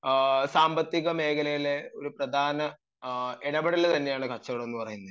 നമ്മുടെ സാമ്പത്തിക മേഖലയിലെ ഒരു പ്രധാന ഇടപെടൽ തന്നെയാണ് കച്ചവടം എന്ന് പറയുന്നത്